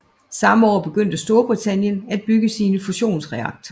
Samme år begyndte Storbritanien at bygge sin fusionsreaktor